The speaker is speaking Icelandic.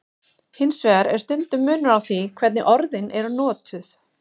Hins vegar er stundum munur á því hvernig orðin eru notuð.